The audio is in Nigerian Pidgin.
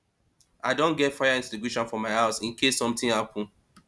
i don get fire extinguisher for my house in case something happen